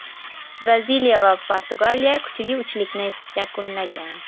Braziliya va Portugaliya kuchli uchlikni yakunlagan.